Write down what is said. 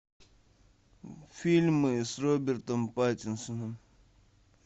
фильмы с робертом паттинсоном